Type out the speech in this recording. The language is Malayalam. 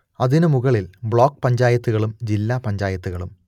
അതിനു മുകളിൽ ബ്ലോക്ക് പഞ്ചായത്തുകളും ജില്ലാപഞ്ചായത്തുകളും